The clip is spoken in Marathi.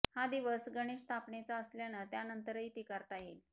हा दिवस गणेश स्थापनेचा असल्यानं त्यानंतरही ती करता येईल